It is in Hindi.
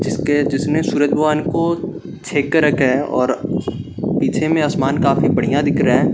जिसके जिसने सूरज भगवान को के रखा है और पीछे में असमान काफी बढ़िया दिख रहा है।